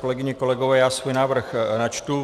Kolegyně, kolegové, já svůj návrh načtu.